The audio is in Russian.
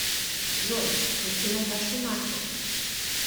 джой включи наташу наффи